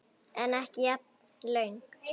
En ekki jafn löng.